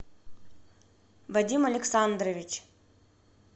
вадим александрович